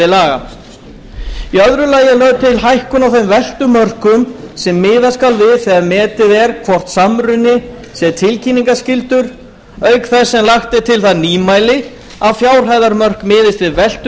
laga í öðru lagi er lögð til hækkun á þeim veltumörkum sem miðað skal við þegar metið er hvort samruni sé tilkynningarskyldur auk þess sem lagt er til það nýmæli að fjárhæðarmörk miðist við veltu